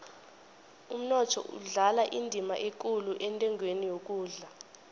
umnotho udlala indima ekulu entengweni yokudla